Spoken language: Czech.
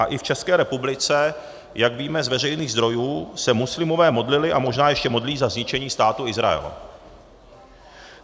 A i v České republice, jak víme z veřejných zdrojů, se muslimové modlili a možná ještě modlí za zničení Státu Izrael.